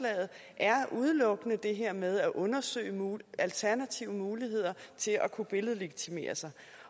er at udelukkende er det her med at undersøge alternative muligheder til at kunne billedlegitimere sig